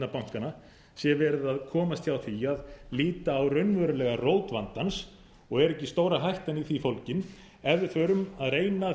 bankanna sé verið að komast hjá því að líta á raunverulega rót vandans og er ekki stóra hættan í því fólgin ef við förum að reyna að